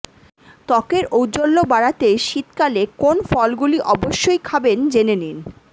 ত্বকের ঔজ্জ্বল্য বাড়াতে শীতকালে কোন ফলগুলি অবশ্যই খাবেন জেনে নিন